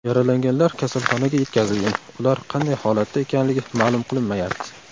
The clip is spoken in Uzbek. Yaralanganlar kasalxonaga yetkazilgan, ular qanday holatda ekanligi ma’lum qilinmayapti.